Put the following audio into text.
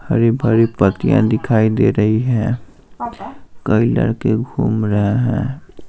हरी भरी पत्तियां दिखाई दे रही हैं कई लड़के घूम रहे हैं।